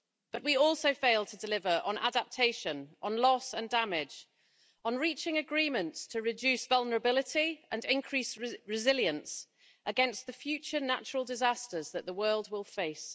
But we also failed to deliver on adaptation, on loss and damage, on reaching agreements to reduce vulnerability and increase resilience against the future natural disasters that the world will face.